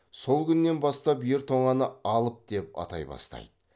сол күннен бастап ер тоңаны алып деп атай бастайды